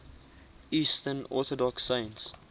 eastern orthodox saints